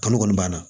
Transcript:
Kalo kɔni banna